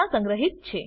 સંગ્રહિત છે